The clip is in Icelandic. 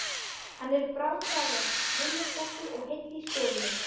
Hann er bráðgáfaður, viljasterkur og heill í skoðunum.